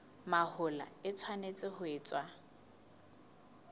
mahola e tshwanetse ho etswa